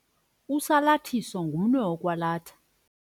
Usalathiso ngumnwe wokwalatha.